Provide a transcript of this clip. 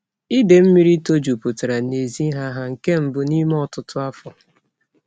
Ide mmiri to juputara n'ezi ha ha nke mbu n'ime otutu afo.